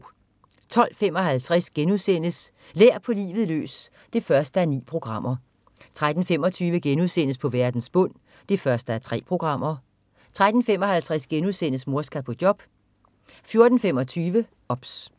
12.55 Lær på livet løs 1:9* 13.25 På verdens bund 1:3* 13.55 Mor skal på job* 14.25 OBS